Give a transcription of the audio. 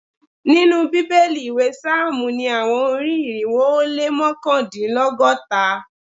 Ninu Bibeli iwe psalmu ni awọn ori-irinwo o le mọkandinlọgọta